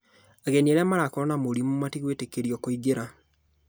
Ageni arĩa marakorwo na mũrimũ matigwĩtĩkĩrio kũingĩra